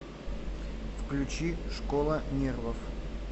включи школа нервов